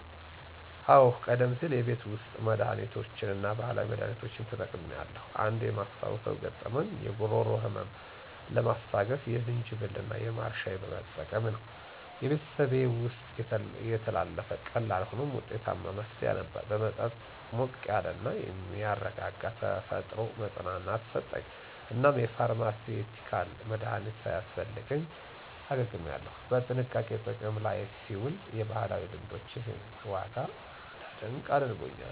አዎ, ቀደም ሲል የቤት ውስጥ መድሃኒቶችን እና ባህላዊ መድሃኒቶችን ተጠቅሜያለሁ. አንድ የማስታውሰው ገጠመኝ የጉሮሮ ህመምን ለማስታገስ የዝንጅብል እና የማር ሻይ መጠቀም ነው። በቤተሰቤ ውስጥ የተላለፈ ቀላል ሆኖም ውጤታማ መፍትሄ ነበር። የመጠጥ ሞቅ ያለ እና የሚያረጋጋ ተፈጥሮ መፅናናትን ሰጠኝ፣ እናም የፋርማሲዩቲካል መድሀኒት ሳያስፈልገኝ አገግሜያለሁ። በጥንቃቄ ጥቅም ላይ ሲውል የባህላዊ ልምዶችን ዋጋ እንዳደንቅ አድርጎኛል.